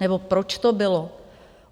Nebo proč to bylo?